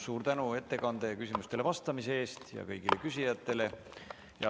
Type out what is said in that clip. Suur tänu ettekande ja küsimustele vastamise eest ja suur tänu kõigile küsijatele!